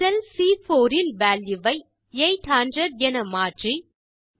செல் சி4 இல் வால்யூ வை 800 என மாற்றி